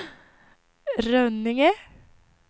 Rönninge